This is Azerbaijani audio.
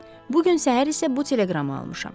Bu gün səhər isə bu teleqramı almışam.